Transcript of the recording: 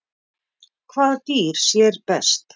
Hvaða dýr sér best?